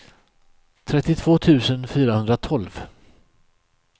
trettiotvå tusen fyrahundratolv